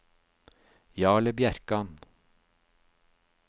Jarle Bjerkan